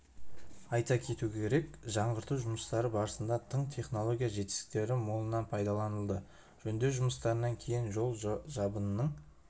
айта кету керек жаңғырту жұмыстары барысында тың технология жетістіктері молынан пайдаланылды жөндеу жұмыстарынан кейін жол жабынының